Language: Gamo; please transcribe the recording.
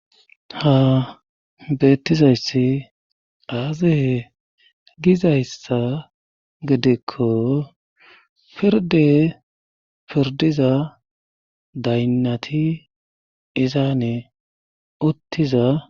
ha beettizayssi aazae gizayssa gedekko pirde pirdiza daynnati izaane uttiza